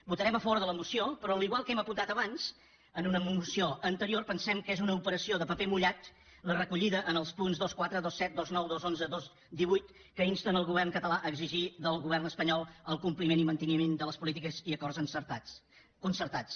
votarem a favor de la moció però igual que hem apuntat abans en una moció anterior pensem que és una operació de paper mullat la recollida en els punts vint quatre vint set vint nou dos cents i onze dos cents i divuit que insten el govern català a exigir del govern espanyol el compliment i manteniment de les polítiques i acords concertats